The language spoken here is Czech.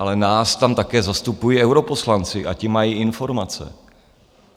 Ale nás tam také zastupují europoslanci a ti mají informace.